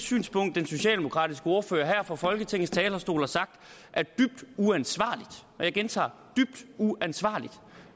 synspunkt den socialdemokratiske ordfører her fra folketingets talerstol har sagt er dybt uansvarligt og jeg gentager dybt uansvarligt